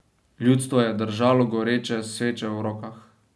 Ljudstvo je držalo goreče sveče v rokah.